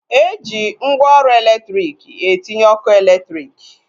Eji mgwooru elektriki etinye ọkụ eletrik